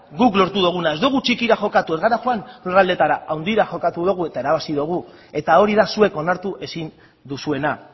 guk lortu duguna ez dugu txikira jokatu ez gara joan lurraldetara handira jokatu dugu eta irabazi dugu eta hori da zuek onartu ezin duzuena